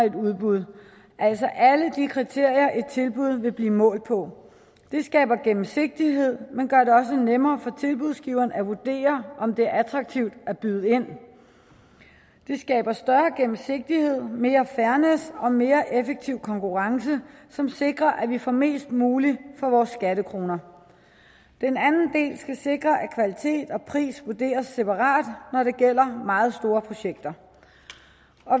et udbud altså alle de kriterier som et tilbud vil blive målt på det skaber gennemsigtighed og man gør det også nemmere for tilbudsgiveren at vurdere om det er attraktivt at byde ind det skaber større gennemsigtighed mere fairness og mere effektiv konkurrence som sikrer at vi får mest muligt for vores skattekroner den anden del skal sikre at kvalitet og pris vurderes separat når det gælder meget store projekter